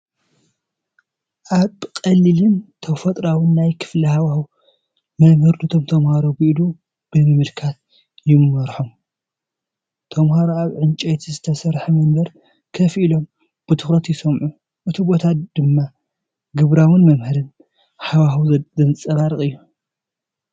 ኣብ ቀሊልን ተፈጥሮኣውን ናይ ክፍሊ ሃዋህው፡ መምህር ነቶም ተማሃሮ ብኢዱ ብምምልካት ይመርሖም። ተማሃሮ ኣብ ዕንጨይቲ ዝተሰርሑ መንበር ኮፍ ኢሎም ብትኹረት ይሰምዑ፣ እቲ ቦታ ድማ ግብራዊን መምሃሪን ሃዋህው ዘንጸባርቕ እዩ።